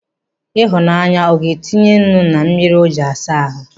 Ịhụnanya ọ ga-tinyere nnu na mmiri o ji asa ahụ?